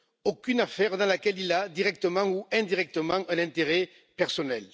aucune affaire dans laquelle il a, directement ou indirectement un intérêt personnel.